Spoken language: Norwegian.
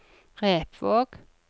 Repvåg